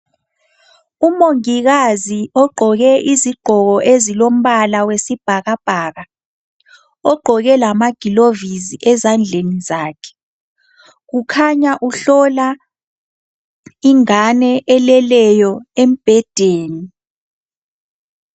Umongikazi ogqoke izigqoko ezilombala wesibhakabhaka, ogqoke lamagilovisi ezandleni zakhe kukhanya uhlola ingane eleleyo embhedeni.